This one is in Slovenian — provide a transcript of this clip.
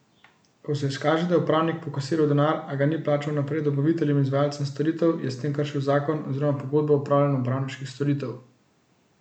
Ko se izkaže, da je upravnik pokasiral denar, a ga ni plačal naprej dobaviteljem in izvajalcem storitev, je s tem kršil zakon oziroma pogodbo o opravljanju upravniških storitev.